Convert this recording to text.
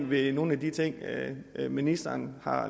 ved nogen af de ting ministeren har